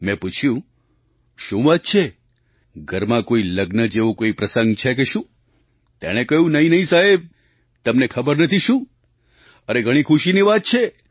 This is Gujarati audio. મેં પૂછ્યું શું વાત છે ઘરમાં કોઈ લગ્ન જેવો કોઈ પ્રસંગ છે કે શું તેણે કહ્યું નહિં નહિં સાહેબ તમને ખબર નથી શું અરે ઘણી ખુશીની વાત છે